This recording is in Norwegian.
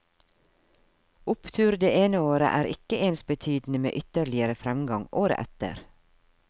Opptur det ene året er ikke ensbetydende med ytterligere fremgang året etter.